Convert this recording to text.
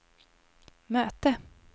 möte